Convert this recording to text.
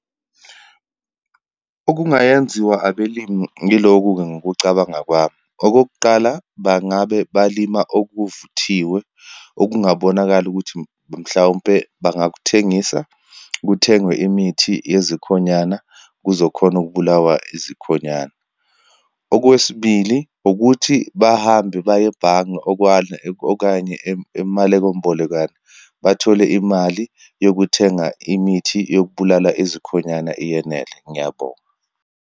Okungayenziwa abelimi, yiloku-ke ngokucabanga kwami. Okokuqala, bangabe balima okuvuthiwe, okungabonakala ukuthi, mhlawumpe bangakuthengisa, kuthengwe imithi yezikhonyana, kuzokhona ukubulawa izikhonyana. Okwesibili ukuthi, bahambe baye ebhange okanye amaleko mbolekwano, bathole imali yokuthenga imithi yokubulala ezikhonanyana iyenele. Ngiyabonga.